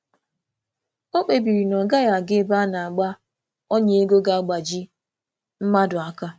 O kpebiri na ọ gaghị aga ebe a na - agba ọnya ego ga-agbaji mmadụ aka